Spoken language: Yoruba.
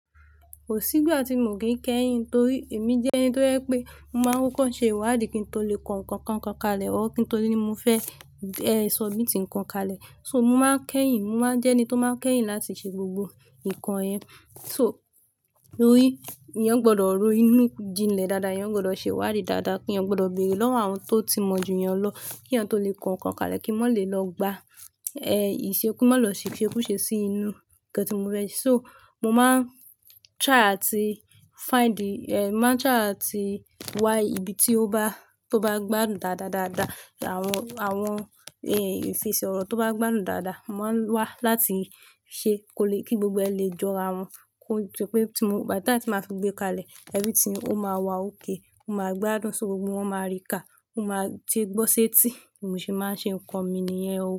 Ko sí ìgbà tí mo kì í kẹ́yìn, torí èmi jẹ́ ní tó je pé mo máa ń kọ́ ṣe ìwádìí kí n tó lè kọ nǹkan kan kalẹ̀, kí n tó rí mọ́ fẹ́ e submit kan kalẹ̀. So mo máa ń kẹ́yìn, mo máa ń jẹ́ ní tó máa ń kẹ́yìn láti ṣe gbogbo nǹkan yẹn. So rí, èèyàn gbọ́dọ̀ rọ́ inú jinlẹ̀ dáadáa, èèyàn gbọ́dọ̀ ṣe ìwádìí dáadáa, èèyàn gbọ́dọ̀ bẹ̀rẹ̀ lọ́wọ́ àwọn tó ti mọ̀jú èèyàn lọ, kí èèyàn tó lè kọ nǹkan kalẹ̀, kí ó má lè lọ gbà ẹ̀ ìṣekú ki mọ́ lọ se ìsekú ṣe sí inú nǹkan tí mọ́ fẹ́. So mo máa ń try àti find the-- ẹ̀ máa ń try àti wá ibi tí ó bá, tó bá gbádùn dáadáa dáadáa, àwọn, àwọn èèyàn ifesi ọ̀rọ̀ tó bá gbádùn dáadáa, mo máa ń wá láti ṣe kí gbogbo ẹ lè jọra wọn. Ko dí pè tí mo-- by the time tí ma fi gbé kalẹ̀, everything o máa wa òkè, ó máa gbádùn so, gbogbo wọ́n máa rí kà, ó máa ti gbọ́ ṣẹ́ tíì, bi mo ṣe máa ń ṣe nǹkan mi nìyẹn o.